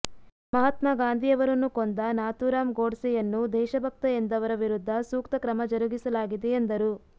ಮಹಾತ್ಮಾ ಗಾಂಧಿ ಅವರನ್ನು ಕೊಂದ ನಾಥೂರಾಮ್ ಗೋಡ್ಸೆಯನ್ನು ದೇಶಭಕ್ತ ಎಂದವರ ವಿರುದ್ಧ ಸೂಕ್ತ ಕ್ರಮ ಜರುಗಿಸಲಾಗಿದೆ ಎಂದರು